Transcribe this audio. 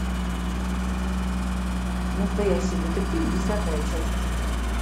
настоящий детектив десятая часть